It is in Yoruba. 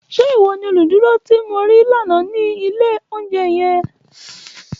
Ṣe iwọ ni oluduro ti mo rii lana ni ile ounjẹ yẹn?